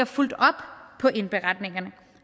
fulgt op på indberetningerne